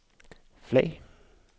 flag